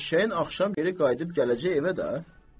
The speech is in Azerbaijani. Eşşəyin axşam geri qayıdıb gələcək evə də.